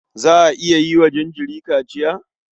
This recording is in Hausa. Za a iya yi wa jinjiri kaciya?